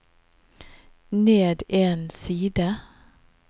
ned en side